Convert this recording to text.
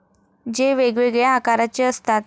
जे वेगवेगळ्या आकाराचे असतात.